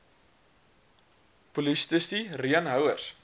polisti reen houers